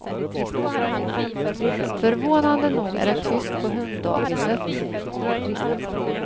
Förvånande nog är det tyst på hunddagiset.